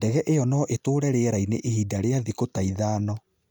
Ndege ĩyo no ĩtũũre rĩera-inĩ ivinda rĩa thikũ ta ithano.